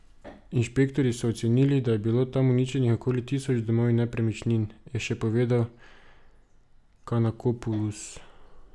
Inšpektorji so ocenili, da je bilo tam uničenih okoli tisoč domov in nepremičnin, je še povedal Kanakopulos.